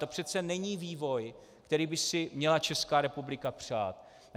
To přece není vývoj, který by si měla Česká republika přát.